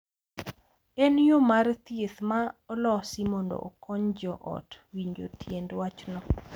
En yo mar thieth ma olosi mondo okony jo ot winjo tiend wachno .